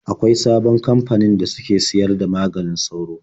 Akwain sabon kamfanin da suke sayar da maganin sauro.